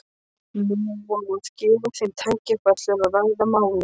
Nú á að gefa þeim tækifæri til að ræða málin.